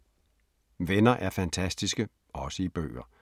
Venner er fantastiske – også i bøger